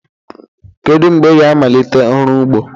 Kedu mgbe ị ga-amalite ọrụ ugbo?